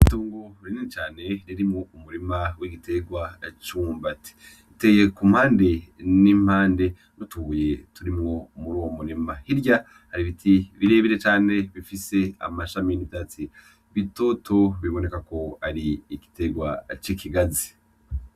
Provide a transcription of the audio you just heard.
Itungu rurine cane ririmwo umurima w'igiterwa cumbati iteye ku mpande n'impande rutuye turimwo muri uwo murema hirya ari biti birebire cane bifise amashami n'ivyatsi bitoto biboneka ko ari igiterwa c'ikigazi.